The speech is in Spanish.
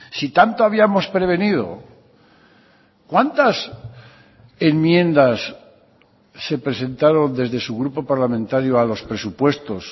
si tanto habíamos prevenido cuántas enmiendas se presentaron desde su grupo parlamentario a los presupuestos